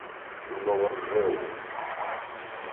новоржеву